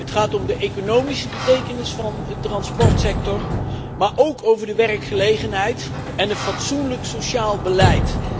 Het gaat om de economische betekenis van de transportsector, maar ook over de werkgelegenheid en een fatsoenlijk sociaal beleid.